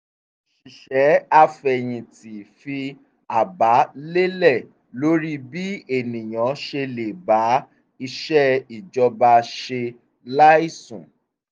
òṣìṣẹ́ afẹ̀yinti fi àbá lélẹ̀ lórí bí ènìyàn ṣe le ba iṣẹ́ ìjọba ṣe láìsùn